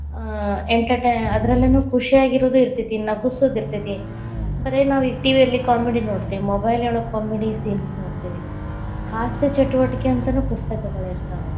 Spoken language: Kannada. ಆ entertain ಅದರಲ್ಲಿನೂ ಖುಷಿಯಾಗಿರುದು ಇತೇ೯ತಿ, ನಗಿಸುದಿತೇ೯ತಿ, ಬರೀ ಈಗ ನಾವ್‌ TV ಯಲ್ಲಿ comedy ನೋಡ್ತೇವ mobile ಒಳಗ್‌ comedy scenes ನೋಡ್ತಿವಿ, ಹಾಸ್ಯ ಚಟುವಟಿಕೆ ಅಂತನೂ ಪುಸ್ತಕಗಳ ಇತಾ೯ವ.